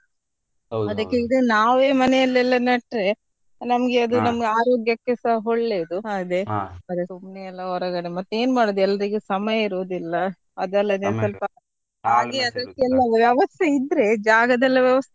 ನಾವೇ ಮನೇಲೆಲ್ಲ ನೆಟ್ರೆ ನಮ್ಗೆ ಅದು ನಮ್ಮ ಆರೋಗ್ಯಕೆಸಾ ಒಳ್ಳೇದು ಸುಮ್ನೆ ಎಲ್ಲ ಹೊರಗಡೆ ಮತ್ತೇನ್ ಮಾಡೋದ್ ಎಲ್ರಿಗು ಸಮಯ ಇರುದಿಲ್ಲ ಹಾಗೆ ಅದಕ್ಕೆಲ್ಲ ವ್ಯವಸ್ತೆ ಇದ್ರೆ ಜಾಗದೆಲ್ಲ ವ್ಯವಸ್ಥೆ.